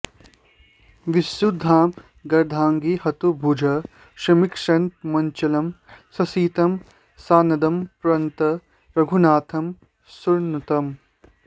विशुद्धामर्धाङ्गीं हुतभुजि समीक्षन्तमचलं ससीतं सानन्दं प्रणत रघुनाथं सुरनुतम्